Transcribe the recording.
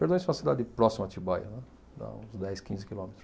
Perdões é uma cidade próxima a Atibaia, né, dá uns dez, quinze quilômetros.